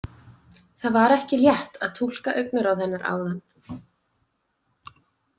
Það var ekki létt að túlka augnaráð hennar áðan.